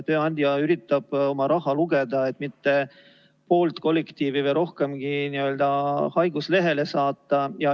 Tööandja üritab oma raha lugeda ja mitte poolt kollektiivi või rohkemgi n-ö haiguslehele saata.